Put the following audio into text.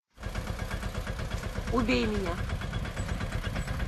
убей меня